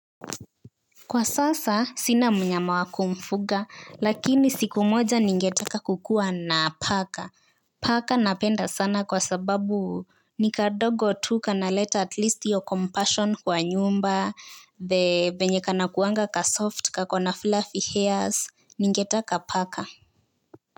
Kwa sasa, sina mnyama wa kumfuga, lakini siku moja ningetaka kukuwa na paka. Paka napenda sana kwa sababu ni kadogo tu kanaleta atleast hiyo compassion kwa nyumba, the vyenye kanakuwanga kasoft kako na fluffy hairs, ningetaka paka.